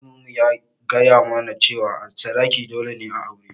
Malamin mu ya gaya mu na cewa sadaki dole ne a aure